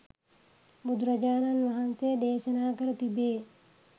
බුදුරජාණන් වහන්සේ දේශනා කර තිබේ.